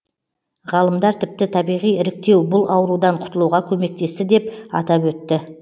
ғалымдар тіпті табиғи іріктеу бұл аурудан құтылуға көмектесті деп атап өтті